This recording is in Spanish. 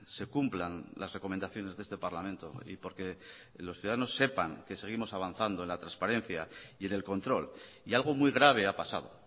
se cumplan las recomendaciones de este parlamento y porque los ciudadanos sepan que seguimos avanzando en la transparencia y en el control y algo muy grave ha pasado